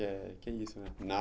E acho que é isso, né?